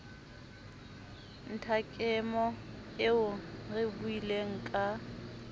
nthakemo eo re buileng ka